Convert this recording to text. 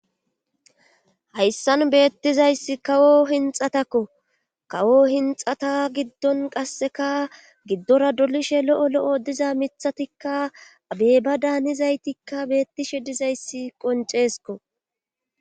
Hayssan beettizayssi kawo hinxatakko kawo hinxata giddon qasseka giddora dolishe lo'o lo'o diza miththatikka abeeba daanizaytikka beettishe dizayssi qonceesko